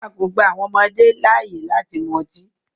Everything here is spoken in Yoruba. A kò gba àwọn ọmọdé láàyè láti mu ọtí.